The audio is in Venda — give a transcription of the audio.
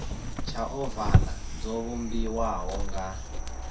tsha ovala dzo vhumbiwaho nga